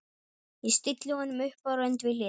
Ég stilli honum upp á rönd við hlið